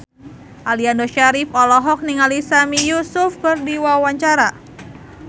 Aliando Syarif olohok ningali Sami Yusuf keur diwawancara